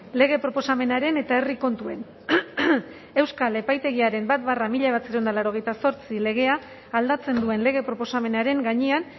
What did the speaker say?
lege proposamenaren eta herri kontuen euskal epaitegiaren bat barra mila bederatziehun eta laurogeita zortzi legea aldatzen duen lege proposamenaren gainean